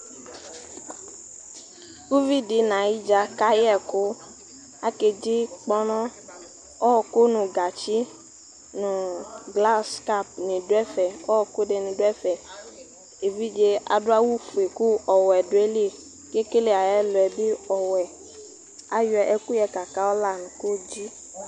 uʋidi nayidza kayɛku akeɖzi kpɔnɔ ɔku nu gatsi nu glas kapni duɛfɛ ɔku dini duɛfɛ éʋidze aɖuawu fue ku ɔwɛ duali kekele ayɛluɛ bi ɔwɛ ayɔ ɛkuyɛ kakɔla nu kodzi